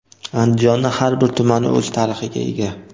Andijonning har bir tumani o‘z tarixiga ega.